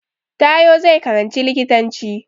Taiwo zai karanci likitanci